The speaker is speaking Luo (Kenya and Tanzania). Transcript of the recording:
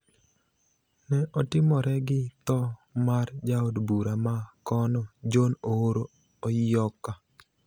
ne otimore gi tho mar jaod bura ma kono, John Oroo Oyioka.